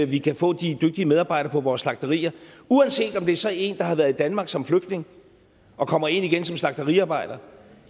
vi kan få de dygtige medarbejdere på vores slagterier uanset om det så er en der har været i danmark som flygtning og kommer ind igen som slagteriarbejder